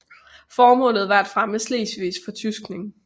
Formålet var at fremme Slesvigs fortyskning